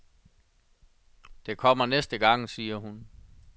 Det kommer næste gang, siger hun.